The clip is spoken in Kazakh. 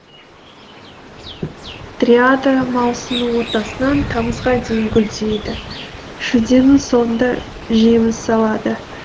дриада маусымның ортасынан тамызға дейін гүлдейді шілденің соңында жеміс салады